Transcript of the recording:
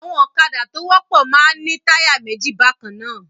Àwọn ọ̀kadá tó wọ́pọ̀ máa ń ní táyà méjì bákan náà.